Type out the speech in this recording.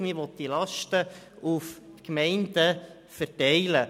Man will diese Lasten auf die Gemeinden verteilen.